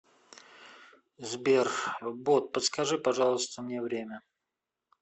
сбер бот подскажи пожалуйста мне время